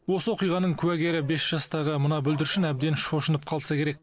осы оқиғаның куәгері бес жастағы мына бүлдіршін әбден шошынып қалса керек